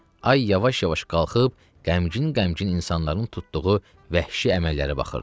Ay yavaş-yavaş qalxıb, qəmgin-qəmgin insanların tutduğu vəhşi əməllərə baxırdı.